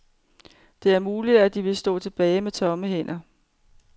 Det er muligt, at de vil stå tilbage med tomme hænder.